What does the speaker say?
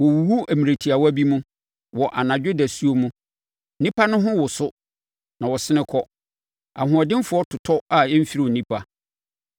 Wɔwuwu mmerɛ tiawa bi mu, wɔ anadwo dasuo mu; nnipa no ho woso na wɔsene kɔ; ahoɔdenfoɔ totɔ a ɛmfiri onipa.